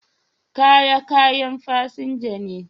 Kaya kayan fasinja ne.